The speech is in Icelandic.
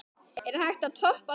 Er hægt að toppa það?